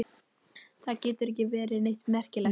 Það getur ekki verið neitt merkilegt.